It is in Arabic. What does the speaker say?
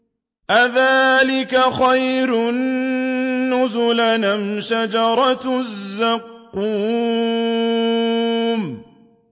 أَذَٰلِكَ خَيْرٌ نُّزُلًا أَمْ شَجَرَةُ الزَّقُّومِ